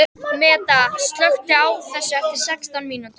Meda, slökktu á þessu eftir sextán mínútur.